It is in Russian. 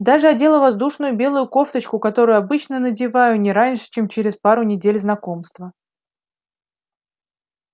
даже одела воздушную белую кофточку которую обычно надеваю не раньше чем через пару недель знакомства